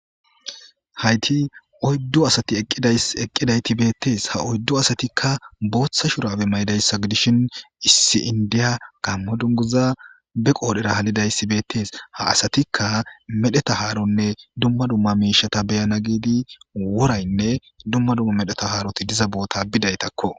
Hayti oyddu asati eqqidayti beettees ha oyddu asatikka booththa shurabe maydayssa gidishin issi indiya gammo dunguza be qoodhera halidayssi beettees ha asatikka medheta haaronne dumma dumma miishata beyana giidi woraynne dumma dumma medheta haaroti diza boota bidaytakko.